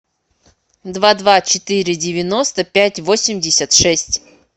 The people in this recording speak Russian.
два два четыре девяносто пять восемьдесят шесть